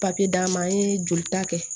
Papiye d'a ma an ye jolita kɛ